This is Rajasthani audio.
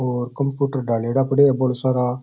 और कंप्युटर डालेडा पड़ा है बोला सारा।